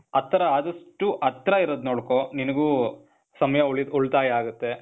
ಹತ್ರ ಆದಷ್ಟು, ಹತ್ರ ಇರೋದ್ ನೋಡ್ಕೋ. ನಿನಿಗೂ ಸಮಯ ಉಳಿ ಉಳ್ತಾಯ ಆಗತ್ತೆ.